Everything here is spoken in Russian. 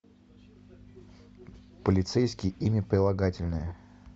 полицейский имя прилагательное